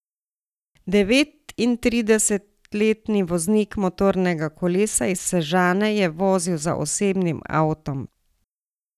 Devetintridesetletni voznik motornega kolesa iz Sežane je vozil za osebnim avtom.